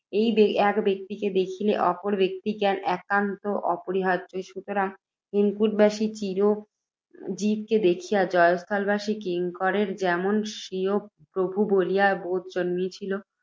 এক ব্যক্তিকে দেখিলে অপর ব্যক্তিজ্ঞান একান্ত অপরিহার্য্য। সুতরাং, হেমকূটবাসী চিরঞ্জীবকে দেখিয়া, জয়স্থলবাসী কিঙ্করের যেমন স্বীয় প্রভু বলিয়া বোধ জন্মিয়াছিল,